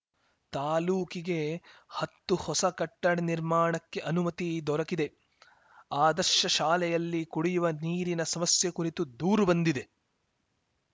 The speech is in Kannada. ತಾಲೂಕಿಗೆ ಹತ್ತು ಹೊಸ ಕಟ್ಟಡ ನಿರ್ಮಾಣಕ್ಕೆ ಅನುಮತಿ ದೊರೆಕಿದೆ ಆದರ್ಶ ಶಾಲೆಯಲ್ಲಿ ಕುಡಿಯುವ ನೀರಿನ ಸಮಸ್ಯೆ ಕುರಿತು ದೂರು ಬಂದಿದೆ